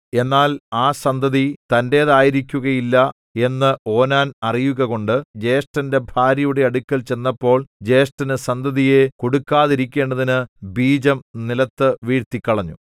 എന്നാൽ ആ സന്തതി തന്റേതായിരിക്കുകയില്ല എന്ന് ഓനാൻ അറിയുകകൊണ്ട് ജ്യേഷ്ഠന്റെ ഭാര്യയുടെ അടുക്കൽ ചെന്നപ്പോൾ ജ്യേഷ്ഠനു സന്തതിയെ കൊടുക്കാതിരിക്കേണ്ടതിന് ബീജം നിലത്തു വീഴ്ത്തിക്കളഞ്ഞു